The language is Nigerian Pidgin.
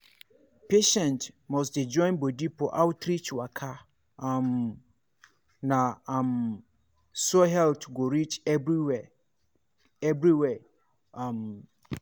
patients must dey join body for outreach waka um na um so health go reach everywhere. everywhere. um